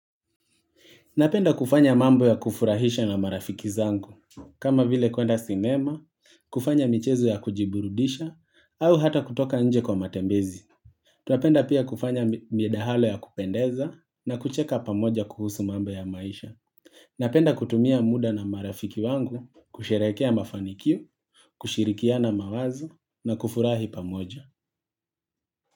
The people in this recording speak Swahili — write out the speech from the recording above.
Napenda kufanya mambo ya kufurahisha na marafiki zangu. Kama vile kuenda sinema, kufanya michezo ya kujiburudisha, au hata kutoka nje kwa matembezi. Tuapenda pia kufanya midahalo ya kupendeza na kucheka pamoja kuhusu mambo ya maisha. Napenda kutumia muda na marafiki wangu kusherekea mafanikio, kushirikiana mawazo na kufurahi pamoja.